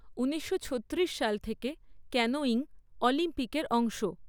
ঊনিশশো ছত্রিশ সাল থেকে ক্যানোয়িং অলিম্পিকের অংশ।